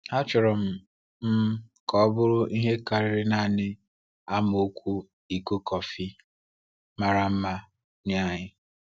Achọrọ m m ka ọ bụrụ ihe karịrị naanị amaokwu iko kọfị mara mma nye anyị.